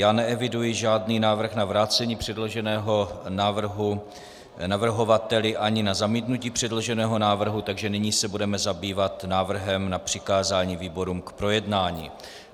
Já neeviduji žádný návrh na vrácení předloženého návrhu navrhovateli ani na zamítnutí předloženého návrhu, takže nyní se budeme zabývat návrhem na přikázání výborům k projednání.